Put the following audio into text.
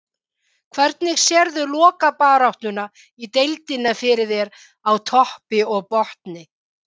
Hvernig sérðu lokabaráttuna í deildinni fyrir þér, á toppi og botni?